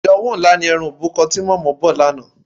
Ìdánwò ńlá ni òórùn e̩ran òbúko̩ ti mò̩mó̩ bò̩ lánàá.